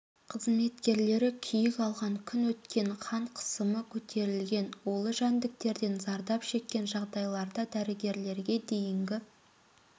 қызметкерлері күйік алған күн өткен қан қысымы көтерілген улы жәндіктерден зардап шеккен жағдайларда дәрігерге дейінгі